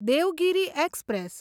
Devgiri express